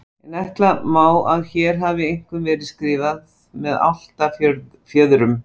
En ætla má að hér hafi einkum verið skrifað með álftafjöðrum.